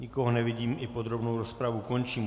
Nikoho nevidím, i podrobnou rozpravu končím.